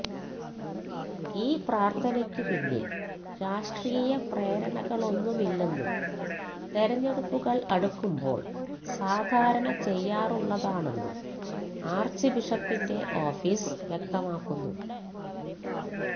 ഈ പ്രാര്ത്ഥനയ്ക്കു പിന്നില് രാഷ്ട്രീയ പ്രേരണകളൊന്നുമില്ലെന്നും തെരഞ്ഞെടുപ്പുകള് അടുക്കുമ്പോള് സാധാരണ ചെയ്യാറുള്ളതാണെന്നും ആര്ച്ച്ബിഷപ്പിന്റെ ഓഫീസ് വ്യക്തമാക്കുന്നു